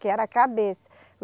Que era a cabeça.